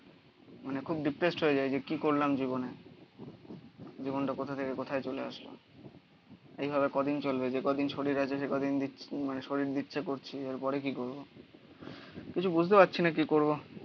মানে খুব ডিপ্রেসড হয়ে যায় যে কি করলাম জীবনে. জীবনটা কোথা থেকে কোথায় চলে আসলো? এইভাবে কদিন চলবে? যে কদিন শরীর আছে সেই কদিন মানে শরীর দিচ্ছে করছে. এরপরে কি করবো কিছু বুঝতে পারছি না কি করবো.